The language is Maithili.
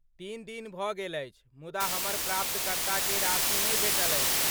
तीन दिन भऽ गेल अछि मुदा हमर प्राप्तकर्ताकेँ राशि नहि भेटल अछि।